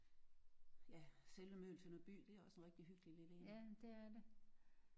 Ja selve Møgeltønder by det er også en rigtig hyggelig lille en